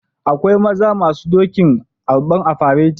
Akwai maza masun doki arban a fereti